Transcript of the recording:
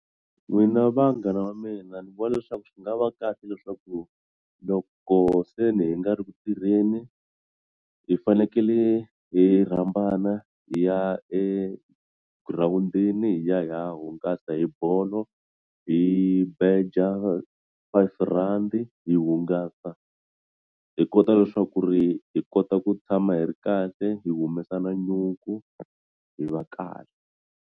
N'wina vanghana va mina ni vona leswaku swi nga va kahle leswaku loko se hi nga ri ku tirheni hi fanekele hi rhambana hi ya egirawundini hi ya hi ya hungasa hi bolo hi beja R5 hi hungasa hi kota leswaku ri hi kota ku tshama hi ri kahle hi ku humesa na nyuku hi va kahle.